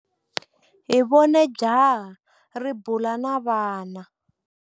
Hi vone jaha ri bula na vana.